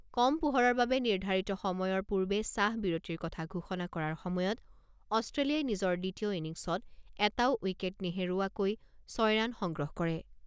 কম পোহৰৰ বাবে নিৰ্ধাৰিত সময়ৰ পূৰ্বে চাহ বিৰতিৰ কথা ঘোষণা কৰাৰ সময়ত অষ্ট্ৰেলিয়াই নিজৰ দ্বিতীয় ইনিংছত এটাও উইকেট নেহেৰুওৱাকৈ ৬ ৰাণ সংগ্ৰহ কৰে।